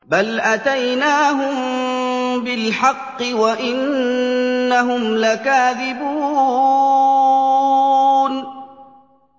بَلْ أَتَيْنَاهُم بِالْحَقِّ وَإِنَّهُمْ لَكَاذِبُونَ